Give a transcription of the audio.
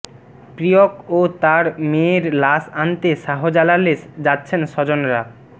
প্রিয়ক ও তার মেয়ের লাশ আনতে শাহজালালে যাচ্ছেন স্বজনরা